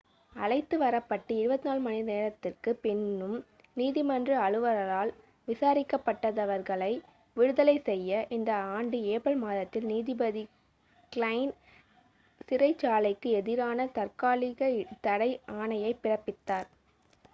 அழைத்து வரப்பட்டு 24 மணிநேரத்திற்குப் பின்னும் நீதிமன்ற அலுவலரால் விசாரிக்கப்படாதவர்களை விடுதலை செய்ய இந்த ஆண்டு ஏப்ரல் மாதத்தில் நீதிபதி க்லைன் சிறைச்சாலைக்கு எதிரான தாற்காலிக தடை ஆணையைப் பிறப்பித்தார்